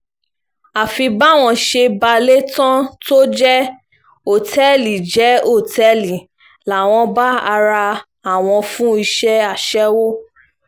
àfi báwọn ṣe balẹ̀ tán tó jẹ́ òtẹ́ẹ̀lì jẹ́ òtẹ́ẹ̀lì làwọn bá ara àwọn fún iṣẹ́ aṣẹ́wó